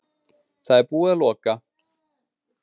Það er búið að loka